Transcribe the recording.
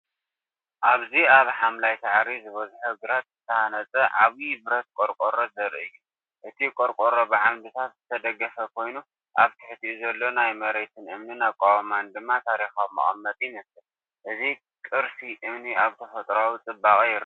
ኣብዚ ኣብ ሓምላይ ሳዕሪ ዝበዝሖ ግራት ዝተሃንጸ ዓቢ ብረት ቆርቆሮ ዘርኢ እዩ። እቲ ቆርቆሮ ብዓምድታት ዝተደገፈ ኮይኑ፡ ኣብ ትሕቲኡ ዘሎ ናይ መሬትን እምንን ኣቃውማ ድማ ታሪኻዊ መቐመጢ ይመስል። እዚ ቅርሲ እምኒ ኣብ ተፈጥሮኣዊ ጽባቐ ይረአ።